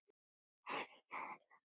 En gæðunum var nokkuð skipt.